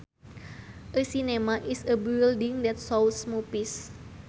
A cinema is a building that shows movies